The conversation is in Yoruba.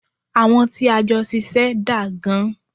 Àwọn tí a jọ ṣiṣẹ́ daa gan.